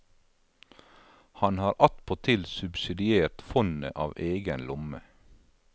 Han har attpåtil subsidiert fondet av egen lomme.